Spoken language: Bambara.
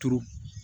Turu